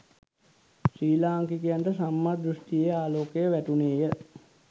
ශ්‍රී ලාංකිකයන්ට සම්මා දෘෂ්ඨියේ ආලෝකය වැටුණේය.